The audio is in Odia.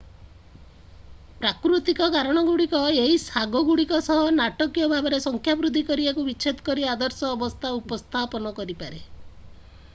ପ୍ରାକୃତିକ କାରଣ ଗୁଡ଼ିକ ଏହି ଶାଗ ଗୁଡ଼ିକ ସହ ନାଟକୀୟ ଭାବରେ ସଂଖ୍ୟା ବୃଦ୍ଧି କରିବାକୁ ବିଛେଦ କରି ଆଦର୍ଶ ଅବସ୍ଥା ଉପସ୍ଥାପନ କରିପାରେ